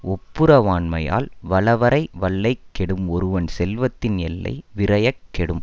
ஒப்புரவாண்மையால் வளவரைவல்லைக் கெடும் ஒருவன் செல்வத்தின் எல்லை விரையக் கெடும்